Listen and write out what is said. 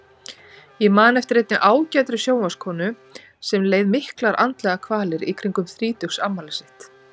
Ég man eftir einni ágætri sjónvarpskonu sem leið miklar andlegar kvalir í kringum þrítugsafmælið sitt.